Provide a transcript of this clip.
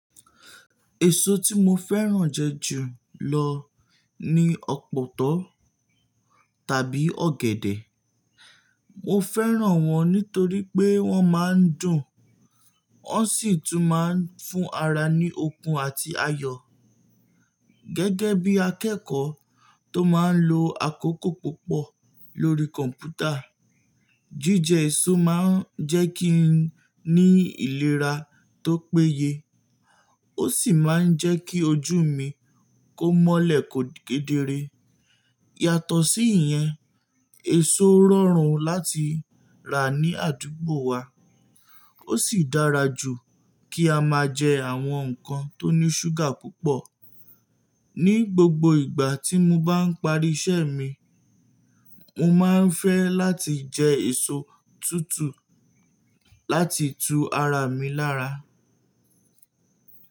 Èso tí mo fẹ́ràn jẹ ju lọ ni ọ̀pọ̀tọ́ tàbí ọ̀gẹ̀dẹ̀. Mo fẹ́ràn wọ́n nítorí pé wọ́n máa ń dùn, wọ́n sì tún máa ń fún ara ní okun àti ayọ̀. Gẹ́gẹ́ bí akẹ́kọ̀ọ́ tó máa ń lo àkókò púpọ̀ lórí kọ̀mpútà, jíjẹ èso máa ń jẹ́ kí n ní ìlera tó péye, ó sì máa ń jẹ́ kí ojú mi kó mọ́lẹ̀ kó kédere. Yàtọ̀ sí ìyẹn, èso rọrùn láti rà ní àdúgbò wa, ó sì dára jù kí a máa jẹ àwọn nǹkan tó ní ṣúgà púpọ̀. Ni gbogbo ìgbà tí mo bá ń parí iṣẹ́ mi, mo máa ń fẹ́ láti jẹ èso tútù láti tu ara mi lára.